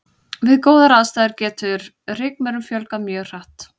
Við góðar aðstæður getur rykmaurum fjölgað mjög hratt.